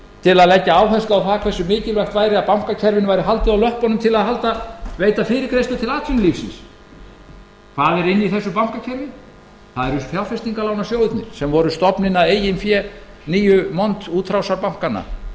til að leggja áherslu á það hversu mikilvægt væri að bankakerfinu væri haldið á löppunum til að veita fyrirgreiðslu til atvinnulífsins hvað er inni í þessu bankakerfi það eru fjárfestingarlánasjóðirnir sem voru stofninn að eigin fé nýju montútrásarbankanna sem